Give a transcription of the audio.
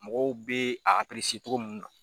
Mɔgɔw bɛ a cogo mun na.